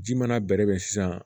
Ji mana bɛrɛ bɛn sisan